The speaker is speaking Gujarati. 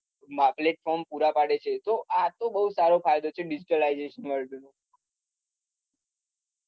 જો આ તો બઉ સારો ફાયદો છે digitalization